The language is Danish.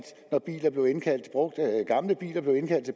når gamle biler blev indkaldt